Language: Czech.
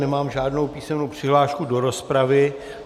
Nemám žádnou písemnou přihlášku do rozpravy.